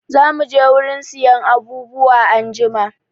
Zamu je wurin siyan abubuwa anjima.